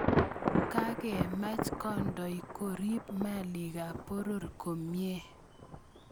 kakemach kandoi koriip malikap poror komie